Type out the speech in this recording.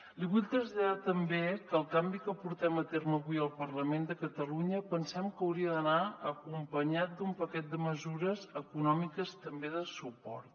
li vull traslladar també que el canvi que portem a terme avui al parlament de catalunya pensem que hauria d’anar acompanyat d’un paquet de mesures econòmiques també de suport